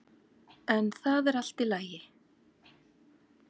En það er allt í lagi.